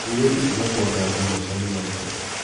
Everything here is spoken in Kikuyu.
Mũirĩtu tiga kuanganga maica nĩ maritũ.